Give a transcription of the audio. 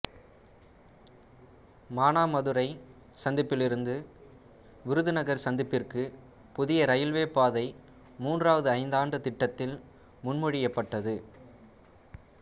மானாமதுரை சந்திப்பிலிருந்துவிருதுநகர் சந்திப்பிற்கு புதிய இரயில்வே பாதை மூன்றாவது ஐந்தாண்டு திட்டத்தில் முன்மொழியப்பட்டது